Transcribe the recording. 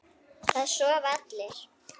Það sofa allir.